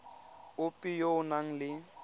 ope yo o nang le